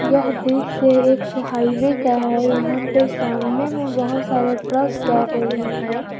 यह दृश्य एक हाईवे का है यहां पे सामने पे बहोत सारा ट्रक जा रही है।